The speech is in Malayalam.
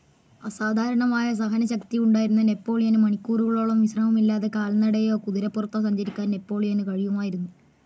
അസാധാരണമായ സഹനശക്തി ഉണ്ടായിരുന്ന നെപോളിയന് മണിക്കൂറുകളോളം, വിശ്രമമില്ലാതെ കാൽനടയായോ കുതിരപ്പുറത്തോ സഞ്ചരിക്കാൻ നെപോളിയനു കഴിയുമായിരുന്നു,.